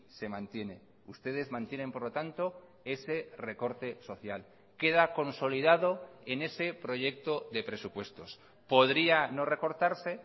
se mantiene ustedes mantienen por lo tanto ese recorte social queda consolidado en ese proyecto de presupuestos podría no recortarse